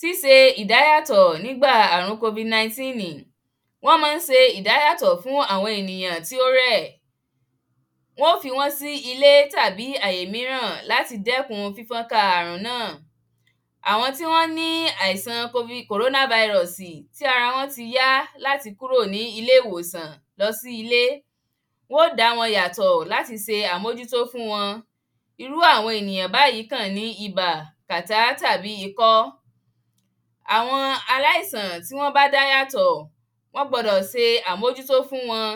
Síse ìdáyàtò̩ nígbà àrùn kovid naintínìn. Wó̩n ma ń se ìdáyàtò̩ fún àwo̩n ènìyàn tí ó rè̩. Wó̩n ó fi wó̩n sí ilé tàbí àyè míràn láti dé̩kun fífó̩nká àrùn náà. Àwo̩n tí wó̩n ní àìsàn kovid kòróná vairò̩sì tí ara wó̩n ti yá láti kúrò ní ilé ìwòsà lo̩ sí ilé. Wó̩n ó dá wo̩n yàtò̩ láti se àmójútó fún wo̩n. Irú àwo̩n ènìyàn báyí kàn ní ibà, kàtá tàbí ikó̩. Àwo̩n aláìsàn tí wó̩n bá dá yàtò̩, wó̩n gbó̩dò̩ se àmójútó fún wo̩n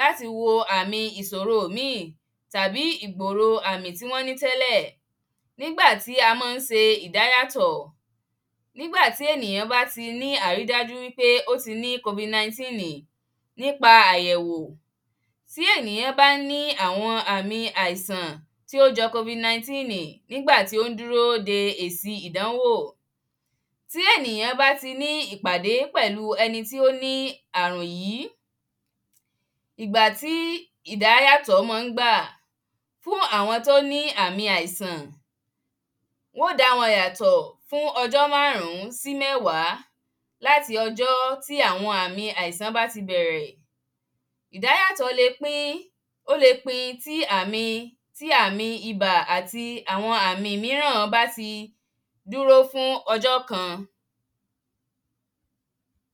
láti wo àmi ìsòro míì tàbí ìgbòrò àmì tí wó̩n ní té̩lè̩. Nígbà tí a ma ń se ìdáyàtò̩. Nígbà tí èníyàn bá ti rí àrídájú wípé ó ti ní kovid naintínìn nípa àyè̩wò. Bí ènìyà̃ bá ní àwo̩n àmi àisàn tí ó jo̩ kovid naintínì nígbà tí ó dúró de èsì ìdánwò. Tí ènìyàn bá ti ní ìpàdé pè̩lu e̩ni tí ó ní àrùn yí. Ìgbà tí ìdáyàtò̩ mán ń gbà fún àwo̩n tí ó ní àmi àìsàn. Wó̩n ó dá wo̩n yàtò̩ fún o̩jó̩ márùn-ún sí mé̩wàá. Láti ò̩jó̩ tí àwo̩n àmi àisàn bá ti bè̩rè̩. Ìdáyàtò̩ le pín ó le pin sí tí àmi ibà àti àwo̩n àmi míràn bá ti dúró fún o̩jó̩ kan.